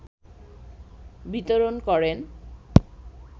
বিতরণ করেন